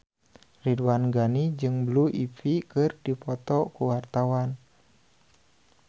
Ridwan Ghani jeung Blue Ivy keur dipoto ku wartawan